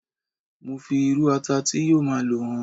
mo fi iru ata ti yíò ma lo hàn